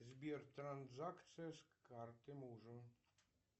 сбер транзакция с карты мужа